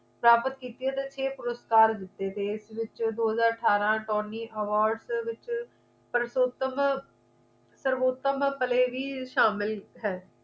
ਪ੍ਰਾਪਤ ਕੀਤੀਆਂ ਤੇ ਛੇ ਪੁਰਸਕਾਰ ਜਿੱਤੇ ਤੇ ਇਸ ਦੇ ਵਿੱਚ ਦੋ ਹਜ਼ਾਰ ਅਠਾਰਾਂ torny awards ਦੇ ਵਿੱਚ ਸਰਵੋਤਮ ਸਰਵੋਤਮ play ਵੀ ਸ਼ਾਮਿਲ ਹੈ